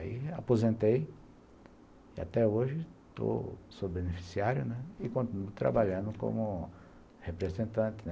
Aí aposentei e até hoje sou beneficiário, né, e continuo trabalhando como representante, né.